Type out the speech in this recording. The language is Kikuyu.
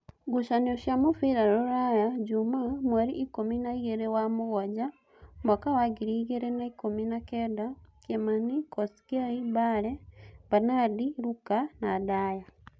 Ngucanio cia mũbira Ruraya Jumaa mweri ikũmi na igĩrĩ wa mũgwanja mwaka wa ngiri igĩrĩ na ikũmi na kenda: Kĩmani, Kosgei, Mbale, Banadi, Luka, Ndaya